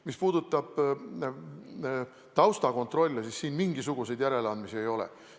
Mis puudutab taustakontrolli, siis siin mingisuguseid järeleandmisi ei ole.